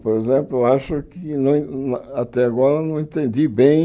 Por exemplo, eu acho que não não até agora não entendi bem